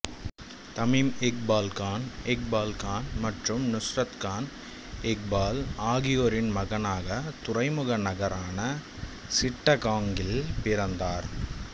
Tamim Iqbal Khan Iqbal Khan மற்றும் நுஸ்ரத் கான் இக்பால் ஆகியோரின் மகனாக துறைமுக நகரமான சிட்டகாங்கில் பிறந்தார்